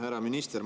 Härra minister!